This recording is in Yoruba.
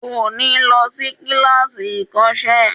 Kò ní lọ sí kíláàsì ìkọ́sẹ́